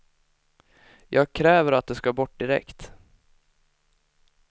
Jag kräver att de ska bort direkt.